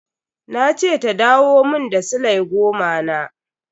Na ce ta dawo mun da sile goma na.